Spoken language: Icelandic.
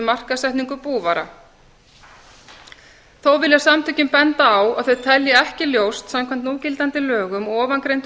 markaðssetningu búvara þó vilja samtökin benda á að þau telja ekki ljóst samkvæmt núgildandi lögum og ofangreindu